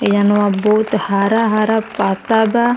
एहवा बहुत हरा-हरा पत्ता बा।